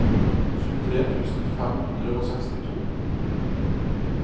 tjuetre tusen fem hundre og sekstito